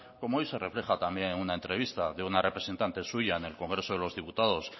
como hoy se refleja también en una entrevista de una representante suya en el congreso de los diputados